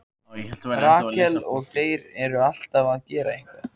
Rakel: Og þeir eru alltaf að gera eitthvað.